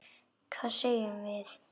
Hvað segjum við?